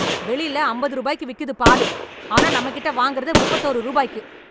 வெளிலஅம்பது ரூபாய்க்கு விக்குது பாலு, ஆனா நம்ம கிட்ட வாங்குறது முப்பது ஒரு ரூபாய்க்கு